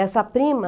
Essa prima...